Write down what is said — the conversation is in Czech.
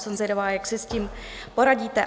Jsem zvědavá, jak si s tím poradíte.